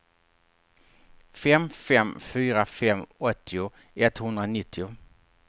fem fem fyra fem åttio etthundranittio